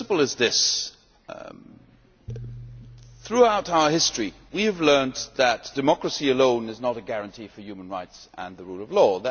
The principle is this throughout our history we have learned that democracy alone is not a guarantee for human rights and the rule of law.